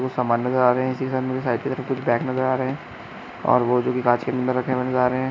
कुछ सामान नजर आ रहे है इसके सामने साईकिल बैग नजर आ रहे है और जो अंदर की कांच नजर आ रहे है।